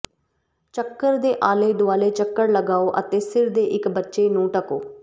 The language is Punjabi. ਚੱਕਰ ਦੇ ਆਲੇ ਦੁਆਲੇ ਚੱਕਰ ਲਗਾਓ ਅਤੇ ਸਿਰ ਦੇ ਇਕ ਬੱਚੇ ਨੂੰ ਢੱਕੋ